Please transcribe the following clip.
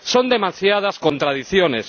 Son demasiadas contradicciones.